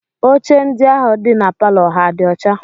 Oche ndị ahụ dị na palọ ha dị ọcha?